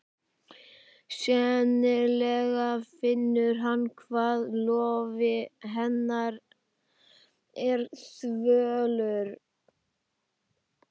Sennilega finnur hann hvað lófi hennar er þvalur.